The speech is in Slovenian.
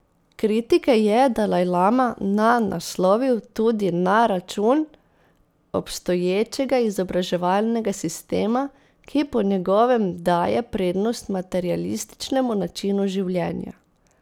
Kritike je dalajlama na naslovil tudi na račun obstoječega izobraževalnega sistema, ki po njegovem daje prednost materialističnemu načinu življenja.